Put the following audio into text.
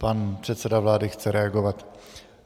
Pan předseda vlády chce reagovat.